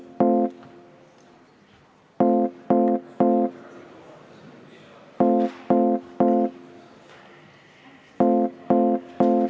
V a h e a e g